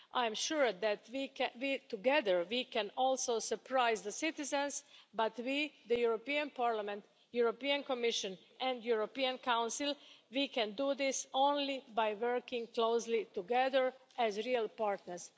I'm sure that, together, we can also surprise the citizens. But we, the European Parliament, the European Commission and the European Council, we can do this only by working closely together as real partners.